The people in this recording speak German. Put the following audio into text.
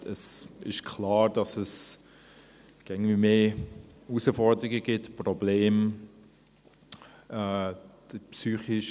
Es ist klar, dass es immer mehr Herausforderungen und Probleme gibt.